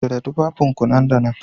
Cire tufafinku nan da nan